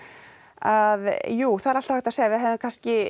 að jú það er alltaf hægt að segja við hefðum kannski